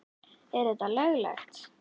Er þetta löglegt??!!